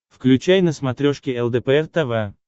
включай на смотрешке лдпр тв